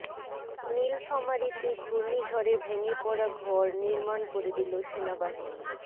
নীলফামারীতে ঘূর্ণিঝড়ে ভেঙে পড়া ঘর নির্মাণ করে দিল সেনাবাহিনী